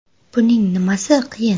Buning nimasi qiyin?